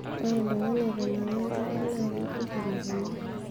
ore oltung'ani otanang'a enkare naa kekurro lukunya